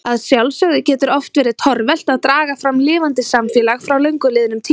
Að sjálfsögðu getur oft verið torvelt að draga fram lifandi samfélag frá löngu liðnum tíma.